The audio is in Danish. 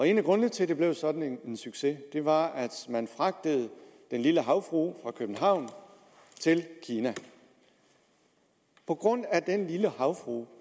en af grundene til at det blev sådan en succes var at man fragtede den lille havfrue fra københavn til kina på grund af den lille havfrue